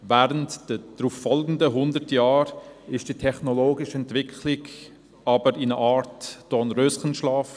Während der darauffolgenden hundert Jahre befand sich die technologische Entwicklung der Elektroautos jedoch in einer Art Dornröschenschlaf.